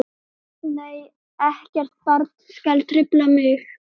Nei ekkert barn skal trufla mig.